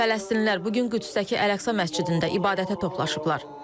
Fələstinlilər bu gün Qüdsdəki Əl-Əqsa məscidində ibadətə toplaşıblar.